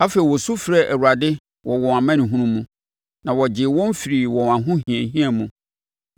Afei, wɔsu frɛɛ Awurade wɔ wɔn amanehunu mu, na ɔgyee wɔn firii wɔn ahohiahia mu.